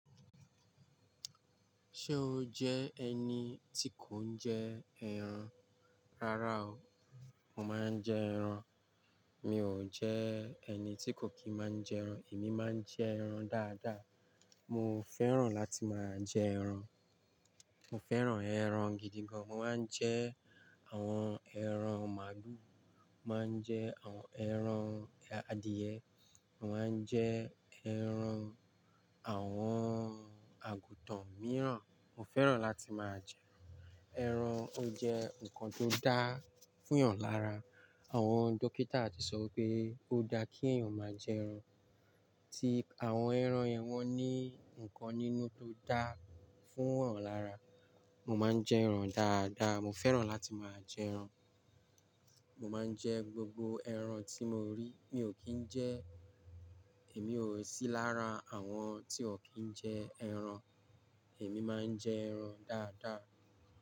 Ṣé o jẹ ẹni tí kò ń jẹ ẹran? Rárá o, mo máa ń jẹ ẹran. Mi ò jẹ ẹni tí kò kí máa ń jẹ ẹran. Èmi máa ń jẹ ẹran dáadáa. Mo fẹ́ràn láti máa jẹ ẹran. Mo fẹ́ràn ẹran gidi gan. Mo máa ń jẹ àwọn ẹran màálù, mo máa ń jẹ àwọn ẹran adìyẹ, mo máa ń jẹ ẹran àwọn àgùtàn mìíràn. Mo fẹ́ràn láti máa jẹ ẹran. Ẹran ó jẹ́ nǹkan tó dáa fún yan lára. Àwọn dókítà ti sọ pé ó dáa kí èèyàn máa jẹ ẹran. Tí àwọn ẹran yẹn wọ́n ní nǹkan nínú tó dáa fún ọ̀ràn lára. Mo máa ń jẹ ẹran dáadáa. Mo fẹ́ràn láti máa jẹ ẹran. Mo máa ń jẹ gbogbo ẹran tí mo rí. Mi ò kí ń jẹ-- èmi ò sí lára àwọn tí ò kí ń jẹ ẹran. Èmi máa ń jẹ ẹran dáadáa.